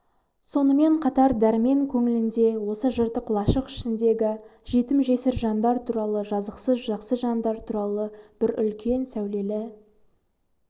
сонымен қатар дәрмен көңілінде осы жыртық лашық ішіндегі жетім-жесір жандар туралы жазықсыз жақсы жандар туралы үлкен бір сәулелі